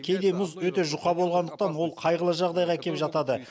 кейде мұз өте жұқа болғандықтан ол қайғылы жағдайға әкеп жатады